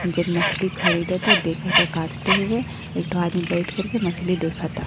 जब मछली खरीदता देखता काटते हुए। एकठो आदमी बैठ करके मछली देखता।